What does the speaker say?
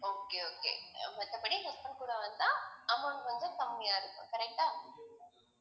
okay okay மத்தபடி husband கூட வந்தா amount வந்து கம்மியா இருக்கும் correct ஆ